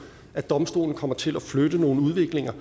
at domstolen kommer til at flytte nogle udviklinger